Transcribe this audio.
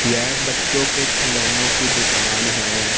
यह बच्चों के खिलौनों की दुकान है।